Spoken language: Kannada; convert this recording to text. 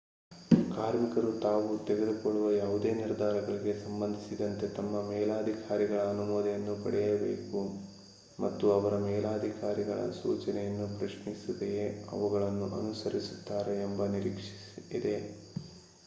ಕಾರ್ಮಿಕರು ತಾವು ತೆಗೆದುಕೊಳ್ಳುವ ಯಾವುದೇ ನಿರ್ಧಾರಗಳಿಗೆ ಸಂಬಂಧಿಸಿದಂತೆ ತಮ್ಮ ಮೇಲಧಿಕಾರಿಗಳ ಅನುಮೋದನೆಯನ್ನು ಪಡೆಯಬೇಕು ಮತ್ತು ಅವರು ಮೇಲಧಿಕಾರಿಗಳ ಸೂಚನೆಗಳನ್ನು ಪ್ರಶ್ನಿಸದೆಯೇ ಅವುಗಳನ್ನು ಅನುಸರಿಸುತ್ತಾರೆ ಎಂಬ ನಿರೀಕ್ಷೆಯಿದೆ